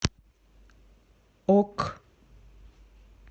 ок